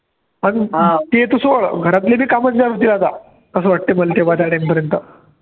आणि ते तर सोडं घरातली बी कामं जमतील आता असं वाटतंय मला तेव्हा त्या time पर्यंत